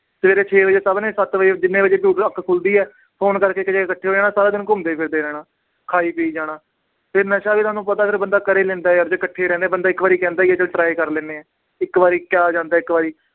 ਸਵੇਰੇ ਛੇ ਵਜੇ ਸਭ ਨੇ ਸੱਤ ਵਜੇ ਜਿੰਨੇ ਵਜੇ ਵੀ ਅੱਖ ਖੁਲਦੀ ਹੈ phone ਕਰਕੇ ਇੱਕ ਜਗ੍ਹਾ ਇਕੱਠੇ ਹੋ ਜਾਣਾ ਸਾਰਾ ਦਿਨ ਘੁੰਮਦੇ ਫਿਰਦੇ ਰਹਿਣਾ, ਖਾਈ ਪੀ ਜਾਣਾ, ਫਿਰ ਨਸ਼ਾ ਵੀ ਤੁਹਾਨੂੰ ਪਤਾ ਫਿਰ ਬੰਦਾ ਕਰ ਹੀ ਲੈਂਦਾ ਯਾਰ ਜੇ ਇਕੱਠੇ ਰਹਿੰਦੇ ਬੰਦਾ ਇੱਕ ਵਾਰੀ ਕਹਿੰਦਾ ਹੀ ਹੈ ਚੱਲ try ਕਰ ਲੈਂਦੇ ਹਾਂ, ਇੱਕ ਵਾਰੀ ਕਿਆ ਜਾਂਦਾ ਇੱਕ ਵਾਰੀ